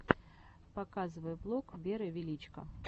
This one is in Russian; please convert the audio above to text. показывай влог веры величко